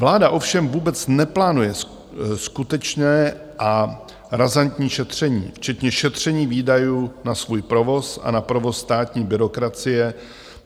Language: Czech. Vláda ovšem vůbec neplánuje skutečné a razantní šetření, včetně šetření výdajů na svůj provoz a na provoz státní byrokracie.